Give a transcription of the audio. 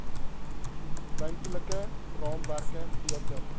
ruimtelike raamwerke beter